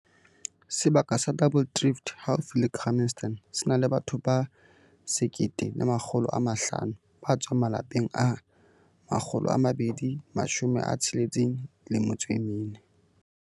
Sebaka sa Double Drift haufi le Grahamstown se na le batho ba 1 500 ba tswang malapeng a 264.